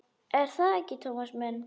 Er það ekki, Tómas minn?